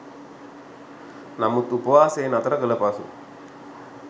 නමුත් උපවාසය නතර කළ පසු